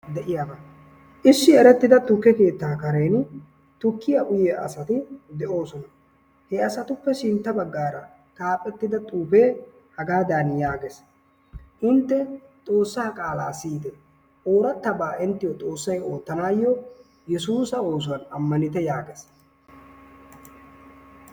Issi erettida tukke keettaa kareeni tukkiyaa uyyiyaa asati de"oosona. Heasatuppe sintta baggaara xaafettida xuufee hagaadan yaagees. intte xoossaa qaalaa siyyitte orattabaa inttiyoo xoossay oottanayoo yeesussa oosuwaani ammanitte yaagees.